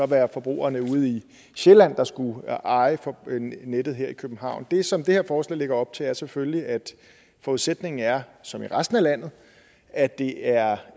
være forbrugerne ude i sjælland der skulle eje nettet her i københavn det som det her forslag lægger op til er selvfølgelig at forudsætningen er som i resten af landet at det er